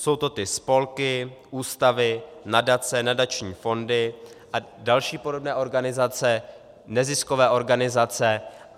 Jsou to ty spolky, ústavy, nadace, nadační fondy a další podobné organizace, neziskové organizace.